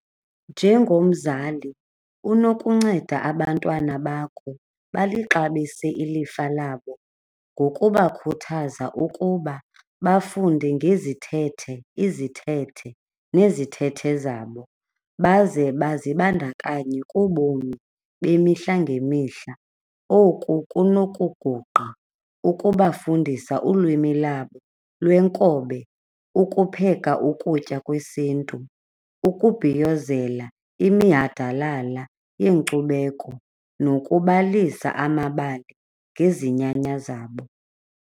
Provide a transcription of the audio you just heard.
Njengomzali unokunceda abantwana bakho balixabise ilifa labo ngokubakhuthaza ukuba bafunde ngezithethe, izithethe nezithethe zabo baze bazibandakanye kubomi bemihla ngemihla. Oku kunokuguqa ukubafundisa ulwimi labo lwenkobe, ukupheka ukutya kwesiNtu, ukubhiyozela iminyhadalala yeenkcubeko nokubalisa amabali ngezinyanya zabo.